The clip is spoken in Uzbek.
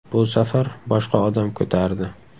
Bu safar boshqa odam ko‘tardi.